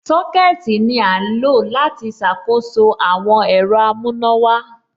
Sọ́kẹ̀tì ní à ń lọ láti ṣàkóso àwọn ẹ̀rọ amùnàwà.